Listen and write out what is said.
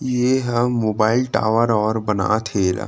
ये ह mobile tower और बनात हे ए ला--